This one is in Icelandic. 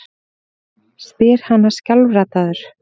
spyr hann skjálfraddaður.